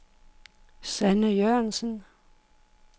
Sanne Jørgensen